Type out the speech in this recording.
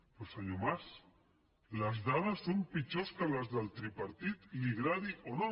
però senyor mas les dades són pitjors que les del tripartit li agradi o no